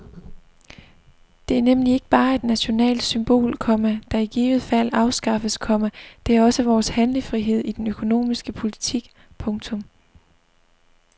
Det er nemlig ikke bare et nationalt symbol, komma der i givet fald afskaffes, komma det er også vores handlefrihed i den økonomiske politik. punktum